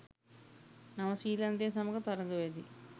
නවසිලන්තය සමඟ තරග වැදී